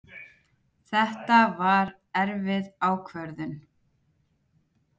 Þetta var erfið ákvörðun